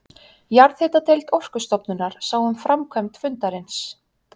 Jarðhitadeild Orkustofnunar sá um framkvæmd fundarins.